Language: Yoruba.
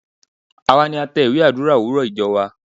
Àwa ni a tẹ ìwé Àdúrà òwúrọ̀ ìjọ wa.